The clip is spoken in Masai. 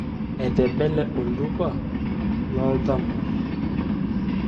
Etebele oltupa lo thamos.